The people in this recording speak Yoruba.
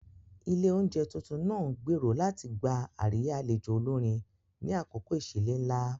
Ilé oúnjẹ tuntun náà ń gbèrò láti gba àríyá àlejò olórin ni àkókò ìsílé ńlá.